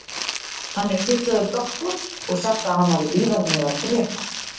Hann er titlaður Doktor og sagt að hann hafi lifað meðal dreka.